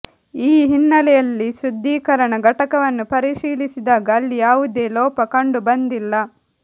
ಈ ಹಿನ್ನೆಲೆಯಲ್ಲಿ ಶುದ್ಧೀಕರಣ ಘಟಕವನ್ನು ಪರಿಶೀಲಿಸಿದಾಗ ಅಲ್ಲಿ ಯಾವುದೇ ಲೋಪ ಕಂಡು ಬಂದಿಲ್ಲ